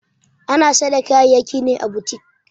Ana Saida kaya'yaki ne à boutique.